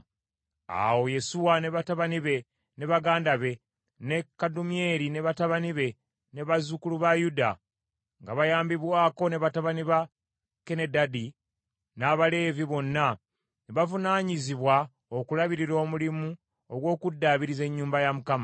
Awo Yesuwa ne batabani be ne baganda be, ne Kadumyeri ne batabani be, ne bazzukulu ba Yuda, nga bayambibwako ne batabani ba Kenedadi n’Abaleevi bonna ne bavunaanyizibwa okulabirira omulimu ogw’okuddaabiriza ennyumba ya Mukama .